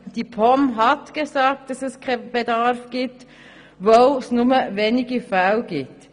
Die POM hat gesagt, es gebe keinen Bedarf, weil es nur wenige Fälle gibt.